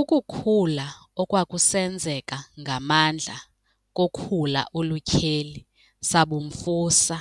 Ukukhula okwakusenzeka ngamandla kokhula olutyheli sabumfusa,